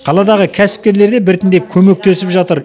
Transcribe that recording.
қаладағы кәсіпкерлер де біртіндеп көмектесіп жатыр